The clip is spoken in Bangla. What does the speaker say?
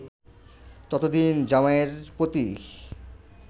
ততদিন জামাইয়ের প্রতি